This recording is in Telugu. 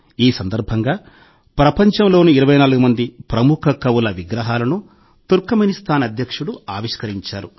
ఈ సందర్భంగా ప్రపంచంలోని 24 మంది ప్రముఖ కవుల విగ్రహాలను తుర్క్ మెని స్తాన్ అధ్యక్షుడు ఆవిష్కరించారు